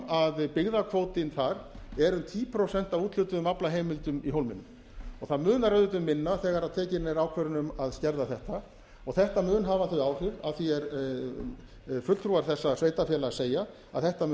að byggðakvótinn þar er um tíu prósent af úthlutuðum aflaheimildum í hólminum og það munar auðvitað um minna þegar tekin er ákvörðun um að skerða þetta þetta mun hafa þau áhrif að því er fulltrúar þessa sveitarfélags segja að þetta mun